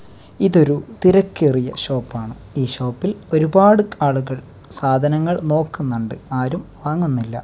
ഇതൊരു തിരക്കേറിയ ഷോപ്പാണ് ഈ ഷോപ്പിൽ ഒരുപാട് ആളുകൾ സാധനങ്ങൾ നോക്കുന്നുണ്ട് ആരും വാങ്ങുന്നില്ല.